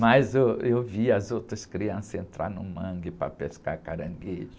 Mas eu, eu via as outras crianças entrarem no mangue para pescar caranguejo.